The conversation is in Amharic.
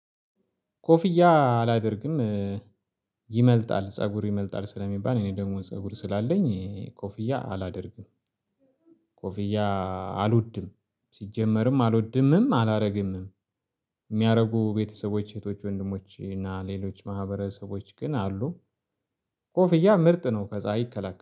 ኮፍያ አላደርግም። ይመልጣል ፀጉር ይመልጣል ስለሚባል እኔ ደግሞ ፀጉር ስላለኝ ኮፍያ አላደርግም። ኮፍያ አልወድም ሲጀመርም አልወድምም አላደርግምም አላረግምም። የሚያደርጉ ቤተሰቦች እህቶች ወንድሞች እና ሌሎች ማህበረሰቦች ግን አሉ ኮፍያ ምርጥ ነው ከፀሀይ ይከላከላል